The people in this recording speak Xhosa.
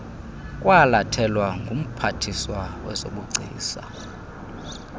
kwalathelwa ngumphathiswa wezobugcisa